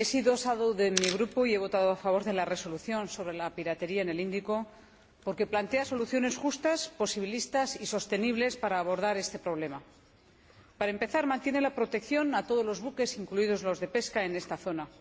he sido ponente alternativa de mi Grupo y he votado a favor de la Resolución sobre la piratería en el Índico porque plantea soluciones justas, posibilistas y sostenibles para abordar este problema. Para empezar, mantiene la protección a todos los buques, incluidos los de pesca, en esta zona.